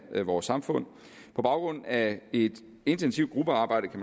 vores samfund på baggrund af et intensivt gruppearbejde